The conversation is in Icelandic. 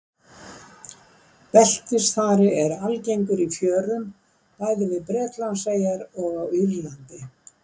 Beltisþari er algengur í fjörum bæði við Bretlandseyjar og á Írlandi.